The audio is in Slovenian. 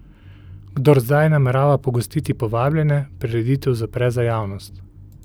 Kdor zdaj namerava pogostiti povabljene, prireditev zapre za javnost.